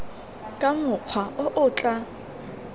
ka mokgwa o o tla